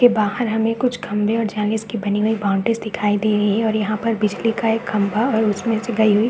के बाहर हमे कुछ खम्भे और जनीश की बनी हुई बाउंड्री दिखाई दे रही है और यहाँ पर बिजली का एक खम्भा और उसमे से गई हुई --